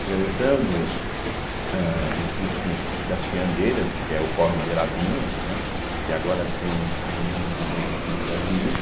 Atravessando, âh existe o das Fiandeiras, que é o Córrego Beirabinha, né, que agora tem, não me lembro muito bem o nome da avenida,